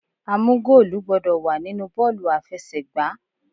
A mú goolu gbọ́dọ̀ wà nínú bọ́ọ̀lù aláfẹsẹ̀gbá.